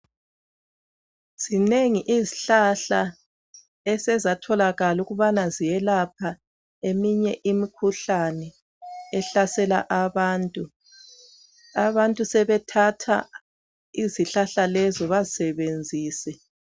Zinengi izihlahla esezatholakala ukuthi ziyelapha eminye imikhuhlane ehlasela abantu. Abantu sebethatha izihlahla lezo bazisebenzise